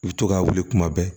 I bɛ to k'a wuli kuma bɛɛ